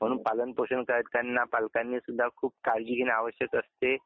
म्हणून पालन पोषण करताना पालकांनी सुद्धा खूप काळजी घेणे आवश्यक असते.